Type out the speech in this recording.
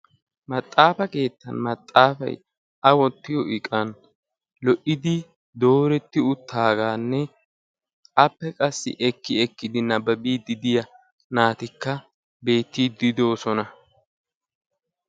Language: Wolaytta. Maxafa kaattan maxafay dooretti uttidagappe naati ekkiddi nabaabbiddi de'osonna.